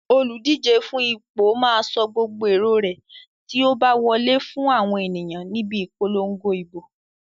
Olùdíje fún ipò máa sọ gbogbo èrò rẹ̀ tí ó bá wọlé fún àwọn ènìyàn níbi ìpolongo ìbò.